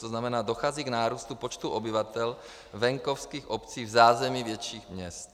To znamená, dochází k nárůstu počtu obyvatel venkovských obcí v zázemí větších měst.